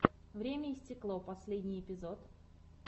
время и стекло последний эпизод